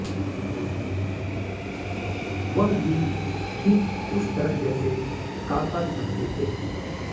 वह भी ठीक उस तरह जैसे काका चाहते थे